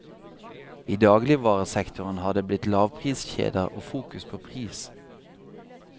I dagligvaresektoren har det blitt lavpriskjeder og fokus på pris.